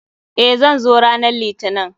Eh, zan zo ranan litinin.